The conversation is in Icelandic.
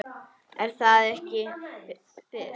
Er það ekki Fis?